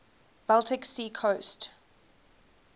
baltic sea coast